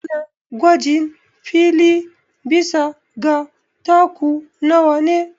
Ana gwajin fili bisa ga taku nawa ne